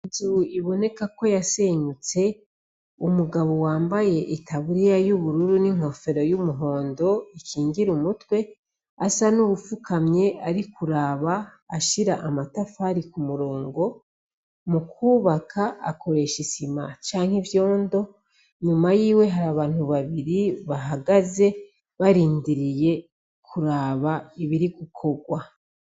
Ninzu iboneka ko yasenyutse umugabo yambaye itaburiya n'inkofero yumuhondo ikingira umutwe asa nuwufukamye Ari kuraba ashira amatafari kumurongo mukubaka akoresha isima canke ivyondo inyuma yiwe hari abantu babiri bahagaze barindiriye kuraba ibiri gukorwa.